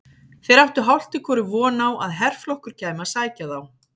Þeir áttu hálft í hvoru von á að herflokkur kæmi að sækja þá.